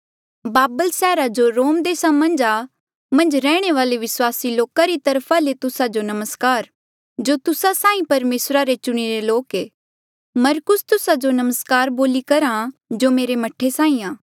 बाबेल सैहरा जो रोम देसा मन्झ आ मन्झ रैहणे वाले विस्वासी लोका री तरफा ले तुस्सा जो नमस्कार जो तुस्सा साहीं परमेसरा रे चुणिरे लोक ऐें मरकुस तुस्सा जो नमस्कार बोली करहा जो मेरे मह्ठे साहीं आ